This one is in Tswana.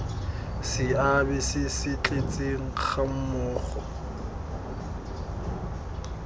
seabe se se tletseng gammogo